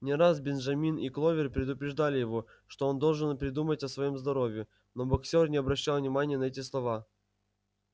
не раз бенджамин и кловер предупреждали его что он должен подумать о своём здоровье но боксёр не обращал внимания на эти слова